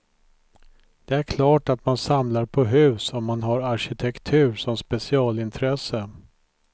Det är klart att man samlar på hus om man har arkitektur som specialintresse.